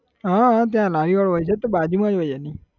હા હા ત્યાં લારી વાળો હોય છે તો બાજુમાં જ હોય છે એની